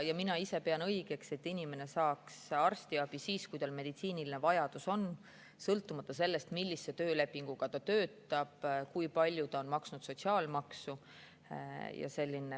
Mina ise pean õigeks, et inimene saaks arstiabi siis, kui tal on meditsiiniline vajadus, sõltumata sellest, millise töölepinguga ta töötab või kui palju ta on maksnud sotsiaalmaksu.